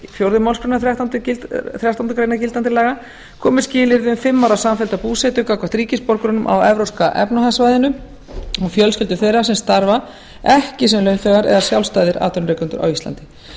fjórðu málsgreinar þrettándu greinar gildandi laga komi skilyrði um fimm ára samfellda búsetu gagnvart ríkisborgurum á evrópska efnahagssvæðinu og fjölskyldum þeirra sem starfa ekki sem launþegar eða sjálfstæðir atvinnurekendur á íslandi